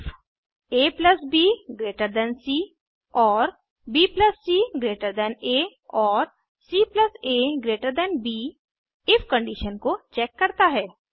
ifabसी और bcआ और caब इफ कंडिशन को चेक करता है